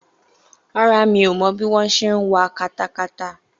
Rárá, mi ò mọ bí wọ́n ṣe ń wa katakata